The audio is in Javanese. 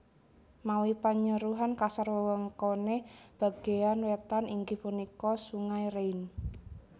Mawi panyeruhan kasar wewengkoné bagéyan wétan inggih punika Sungai Rhein